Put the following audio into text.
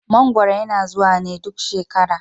Mangwaro yana zuwa ne duk shekara.